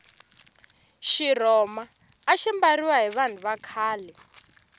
xirhoma axi mbariwa hi vanhu va khale